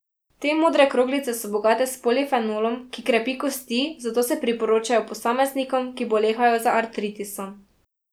Te modre kroglice so bogate s polifenolom, ki krepi kosti, zato se priporočajo posameznikom, ki bolehajo za artritisom.